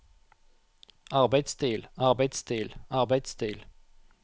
arbeidsstil arbeidsstil arbeidsstil